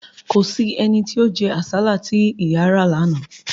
Kò sí ẹni tí ó jẹ́ àsálà tí ìyà ra lánàá